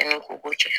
An ka ko ko cɛ